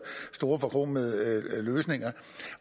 store forkromede løsninger